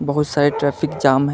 बहुत सारे traffic jam है।